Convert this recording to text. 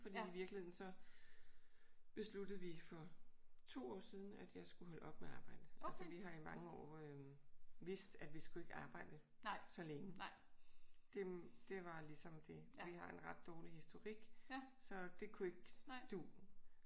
Fordi i virkeligheden så besluttede vi for 2 år siden at jeg skulle holde op med at arbejde. Altså vi har i mange år øh vidst at vi skulle ikke arbejde så længe. Det det var ligesom det. Vi har en ret dårlig historik. Så det kunne ikke du